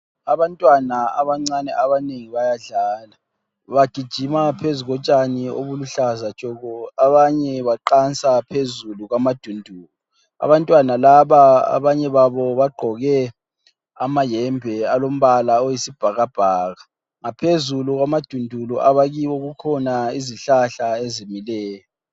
Abantwana abancane abanengi bayadlala bagijima phezu kotshani obuluhlaza tshoko abanye baqansa phezulu kwamadundulu, abantwana laba abanye babo bagqoke amayembe alombala oyisibhakabhaka ngaphezulu kwamadundulu abakiwo kukhona izihlahla ezimileyo.